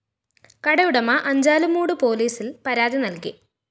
കടയുടമ അഞ്ചാലുംമൂട് പോലീസില്‍ പരാതി നല്‍കി